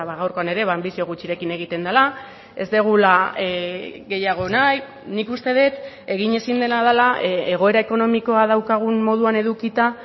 gaurkoan ere ba anbizio gutxirekin egiten dela ez dugula gehiago nahi nik uste dut egin ezin dena dela egoera ekonomikoa daukagun moduan edukita